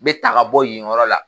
N bɛ ta ka bɔ yen yɔrɔ la;